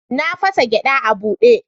Na fasa gyada a bude.